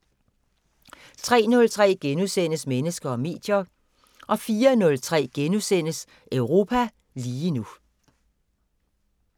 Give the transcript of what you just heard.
03:03: Mennesker og medier * 04:03: Europa lige nu *